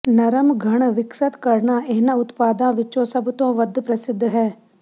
ਨਰਮ ਘਣ ਵਿਕਸਤ ਕਰਨਾ ਇਹਨਾਂ ਉਤਪਾਦਾਂ ਵਿੱਚੋਂ ਸਭ ਤੋਂ ਵੱਧ ਪ੍ਰਸਿੱਧ ਹੈ